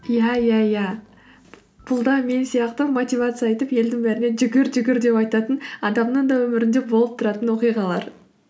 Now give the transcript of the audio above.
иә иә иә бұл да мен сияқты мотивация айтып елдің бәріне жүгір жүгір деп айтатын адамның да өмірінде болып тұратын оқиғалар